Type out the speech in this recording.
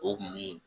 O kun ye